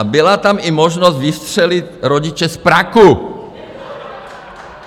A byla tam i možnost vystřelit rodiče z praku.